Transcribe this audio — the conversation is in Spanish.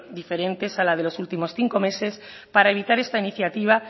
diferentes a la de los últimos cinco meses para evitar esta iniciativa